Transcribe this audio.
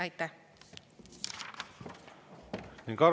Aitäh!